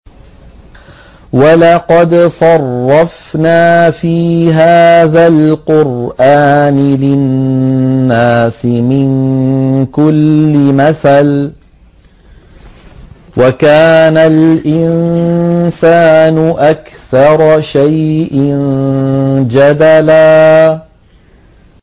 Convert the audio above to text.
وَلَقَدْ صَرَّفْنَا فِي هَٰذَا الْقُرْآنِ لِلنَّاسِ مِن كُلِّ مَثَلٍ ۚ وَكَانَ الْإِنسَانُ أَكْثَرَ شَيْءٍ جَدَلًا